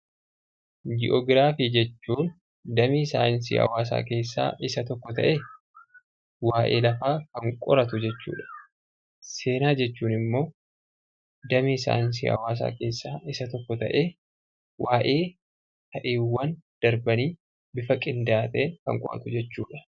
Ji'oogiraafii jechuun damee saayinsii hawaasaa keessaa isa tokko ta'ee, waayee lafaa kan qoratu jechuu dha. Seenaa jechuun immoo damee saayinsii hawaasaa keessaa isa tokko ta'ee, waayee ta'iiwwan darbanii bifa qindaa'aa ta'een kan qo'atu jechuu dha.